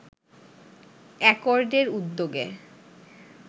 অ্যাকর্ডের উদ্যোগে